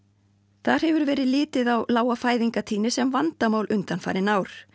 þar hefur verið litið á lága fæðingartíðni sem vandamál undanfarin ár